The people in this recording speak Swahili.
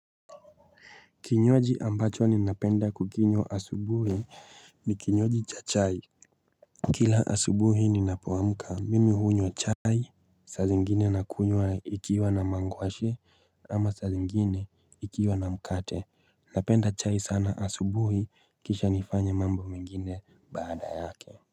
Kinywaji ambacho ni napenda kukinywa asubuhi ni kinywaji cha chai Kila asubuhi ni napoamka mimi hunywa chai Sazi ngine nakunywa ikiwa na mangwashe ama sazi ngine ikiwa na mkate napenda chai sana asubuhi kisha nifanye mambo mengine baada yake.